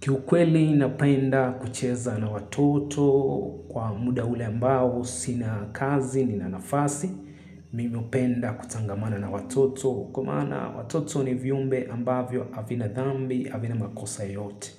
Kiukweli napenda kucheza na watoto kwa muda ule ambao sina kazi, nina nafasi, mimi hupenda kutangamana na watoto. Kwa maana watoto ni viumbe ambavyo havina dhambi, havina makosa yote.